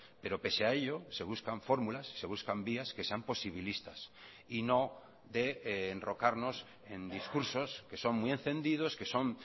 pero pese a ellos se buscan fórmulas se buscan vías que sean posibilistas y no de enrocarnos en discursos que son muy encendidos que son